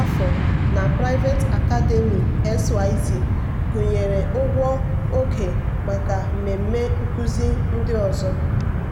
afọ na private academy xyz gụnyere ụgwọ oge maka mmemme nkụzi ndị ọzọ.